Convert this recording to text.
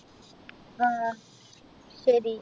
ആഹ് ശരി